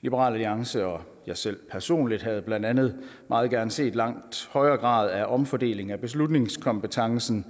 liberal alliance og jeg selv personligt havde blandt andet meget gerne set en langt højere grad af omfordeling af beslutningskompetencen